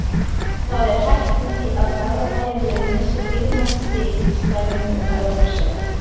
Það er hætt við því að Garðabæjarliðið missi dýrmæt stig í slagnum um Evrópusæti.